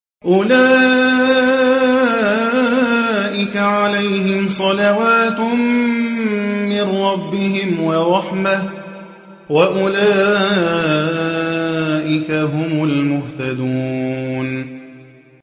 أُولَٰئِكَ عَلَيْهِمْ صَلَوَاتٌ مِّن رَّبِّهِمْ وَرَحْمَةٌ ۖ وَأُولَٰئِكَ هُمُ الْمُهْتَدُونَ